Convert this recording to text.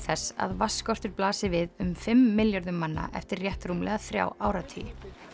þess að vatnsskortur blasi við um fimm milljörðum manna eftir rétt rúmlega þrjá áratugi